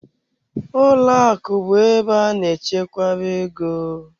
Ụlọ akụ bụ ebe a na-echekwa ego.